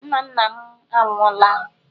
Nna nna m anwụọla.